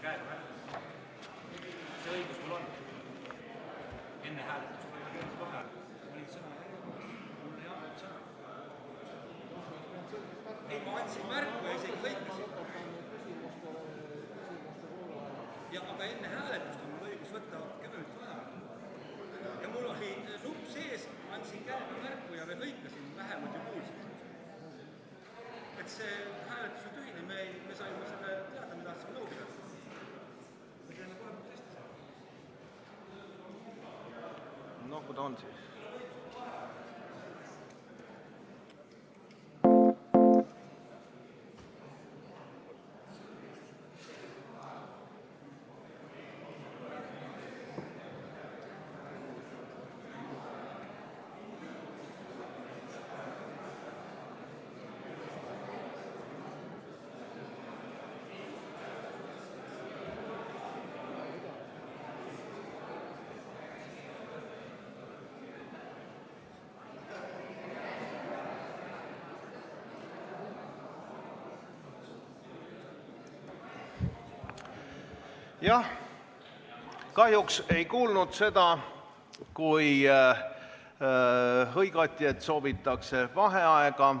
Kahjuks ma ei kuulnud seda, kui hõigati, et soovitakse vaheaega.